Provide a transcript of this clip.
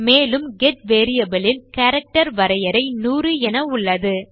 மேலும் get variable இல் character வரையறை 100 என உள்ளது